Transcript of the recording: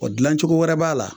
dilancogo wɛrɛ b'a la